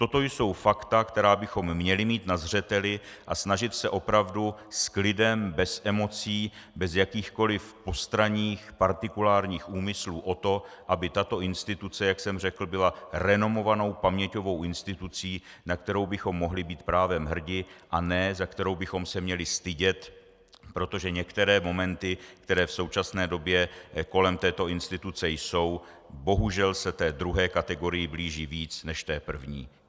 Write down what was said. Toto jsou fakta, která bychom měli mít na zřeteli, a snažit se opravdu s klidem, bez emocí, bez jakýchkoli postranních partikulárních úmyslů o to, aby tato instituce, jak jsem řekl, byl renomovanou paměťovou institucí, na kterou bychom mohli být právem hrdi, a ne za kterou bychom se měli stydět, protože některé momenty, které v současné době kolem této instituce jsou, bohužel se té druhé kategorii blíží víc než té první.